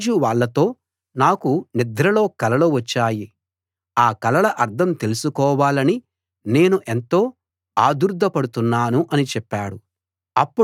రాజు వాళ్ళతో నాకు నిద్రలో కలలు వచ్చాయి ఆ కలల అర్థం తెలుసుకోవాలని నేను ఎంతో ఆదుర్దా పడుతున్నాను అని చెప్పాడు